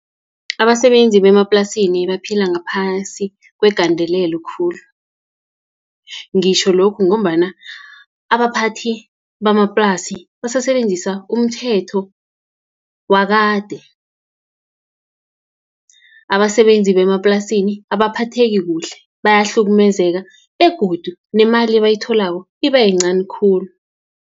Abasebenzi bemaplasini baphila ngaphasi kwegandelelo khulu. Ngitjho lokhu ngombana, abaphathi bamaplasi basasebenzisa umthetho wakade. Abasebenzi bemaplasini abaphetheki kuhle, bayahlukumezeka, begodu nemali ebayitholako iba yincani khulu.